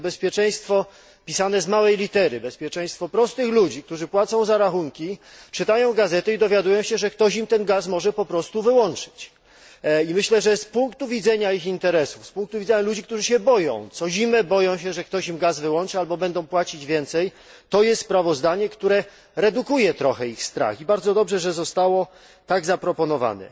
Ale to bezpieczeństwo pisane z małej litery, bezpieczeństwo prostych ludzi, którzy płacą za rachunki, czytają gazety i dowiadują się, że ktoś im ten gaz może po prostu wyłączyć. I myślę, że z punktu widzenia ich interesów, z punktu widzenia ludzi, którzy się boją, co zimę boją się, że ktoś im gaz wyłączy albo będą płacić więcej, to jest sprawozdanie, które redukuje trochę ich strach, i bardzo dobrze, że zostało tak zaproponowane.